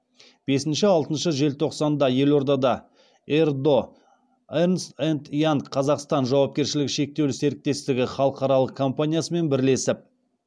бесінші алтыншы желтоқсанда елордада ердо эрнст энд янг қазақстан жауапкершілігі шектеулі серіктестігі халықаралық компаниясымен бірлесіп